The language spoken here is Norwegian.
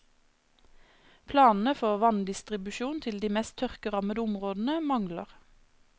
Planene for vanndistribusjon til de mest tørkerammede områdene mangler.